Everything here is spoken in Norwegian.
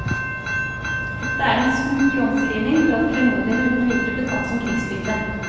Dette er den smukke omskrivning for at klenodiene uten videre ble tatt som krigsbytte.